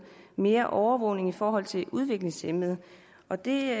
mere overvågning i forhold til udviklingshæmmede og det